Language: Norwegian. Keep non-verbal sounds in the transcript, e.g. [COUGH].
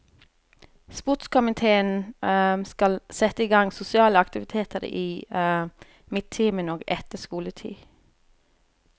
Sportskomiteen [HESITATION] skal sette igang sosiale aktiviteter i [HESITATION] midtimen og etter skoletid.